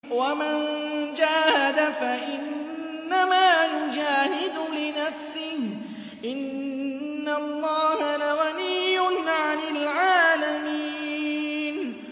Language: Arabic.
وَمَن جَاهَدَ فَإِنَّمَا يُجَاهِدُ لِنَفْسِهِ ۚ إِنَّ اللَّهَ لَغَنِيٌّ عَنِ الْعَالَمِينَ